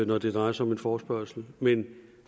når det drejer sig om en forespørgsel men